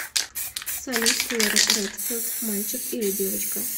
салют клэр редфилд мальчик или девочка